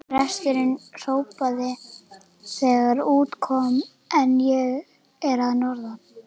Presturinn hrópaði þegar út kom: En ég er að norðan!